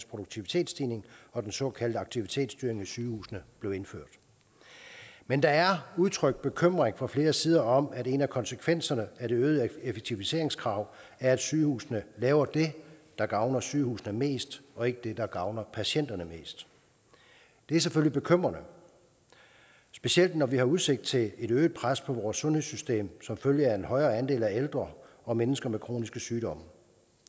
produktivitetsstigning og den såkaldte aktivitetsstyring af sygehusene blev indført men der er udtrykt bekymring fra flere sider om at en af konsekvenserne af det øgede effektiviseringskrav er at sygehusene laver det der gavner sygehusene mest og ikke det der gavner patienterne mest det er selvfølgelig bekymrende specielt når vi har udsigt til et øget pres på vores sundhedssystem som følge af en højere andel af ældre og mennesker med kroniske sygdomme